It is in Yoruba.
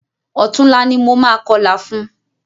Ọ̀túnla ni mo máa kọlà fún.